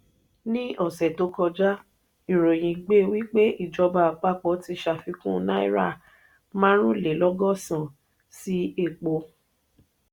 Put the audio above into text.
ní ọsẹ tó kọjá ìròyìn gbé wípé ìjọba àpapọ̀ ti ṣàfikún náírà marunlelogosan sí epo.